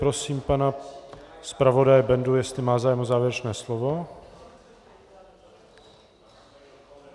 Prosím pana zpravodaje Bendu, jestli má zájem o závěrečné slovo.